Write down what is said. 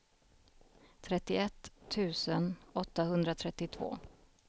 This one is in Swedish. trettioett tusen åttahundratrettiotvå